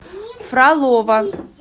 фролова